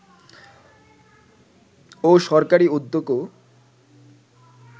ও সরকারী উদ্যোগও